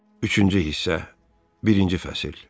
Üçüncü hissə, birinci fəsil.